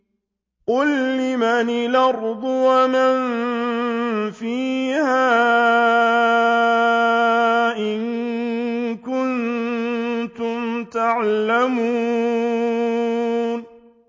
قُل لِّمَنِ الْأَرْضُ وَمَن فِيهَا إِن كُنتُمْ تَعْلَمُونَ